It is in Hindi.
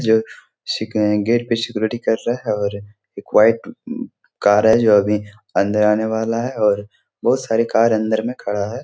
जो सिक अ गेट पे सिक्यूरिटी कर रहा है और एक व्हाइट कार है जो अभी अन्दर आने वाला है और बहुत सारे कार अन्दर में खड़ा है।